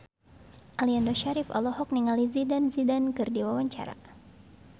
Aliando Syarif olohok ningali Zidane Zidane keur diwawancara